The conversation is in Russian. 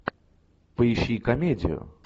поищи комедию